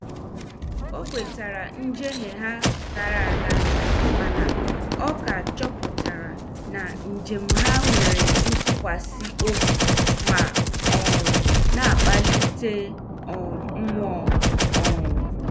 Ọ kwetara njehie ha gara aga mana ọ ka chọpụtara na njem ha nwere ntụkwasị obi ma um na- akpalite um mụọ. um